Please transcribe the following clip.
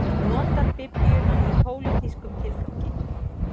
Notar biblíuna í pólitískum tilgangi